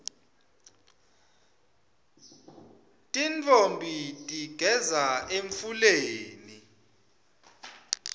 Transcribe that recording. tintfombi tigeza emfuleni